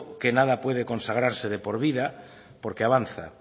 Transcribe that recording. que nada puede consagrarse de por vida porque avanza